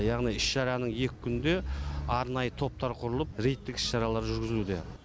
яғни іс шараның екі күнде арнайы топтар құрылып рейдтік іс шаралар жүргізілуде